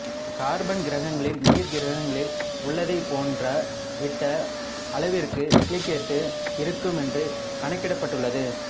carbon கிரகங்களில் நீர் கிரகங்களில் உள்ளதைப் போன்ற விட்ட அளவிற்கு சிலிக்கேட்டு இருக்கும் என்று கணிக்கப்பட்டுள்ளது